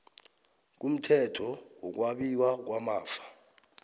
kumthetho wokwabiwa kwamafa